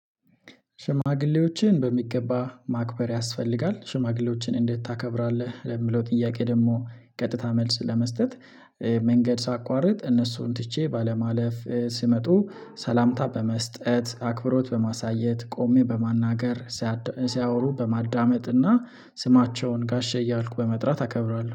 ሽማግሌዎችን በሚገባ ማክበር ያስፈልጋል። ሽማግሌዎችን እንዴት ታከብራለህ? ለምለው ጥያቄ ደግሞ ቀጥታ መልስ ለመስጠት መንገድ ሳቋርጥ እነሱን ትቼ ባለማለፍ ስመጡ ሰላምታ በመስጠት አክብሮት በማሳየት ቆሜ በማናገር። ሲያወሩ በማዳመጥና ስማቸውን ጋሼ እያልኩ በመጥራት አከብራለሁ